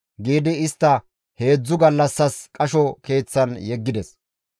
giidi istta heedzdzu gallassas qasho keeththan yeggides.